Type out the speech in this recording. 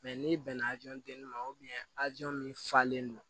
n'i bɛnna denni ma a jo min falenlen don